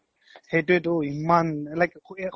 সেইতোয়ে তো ইমান like